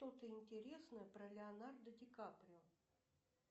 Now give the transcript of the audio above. что то интересное про леонардо ди каприо